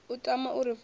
a tama u ri funza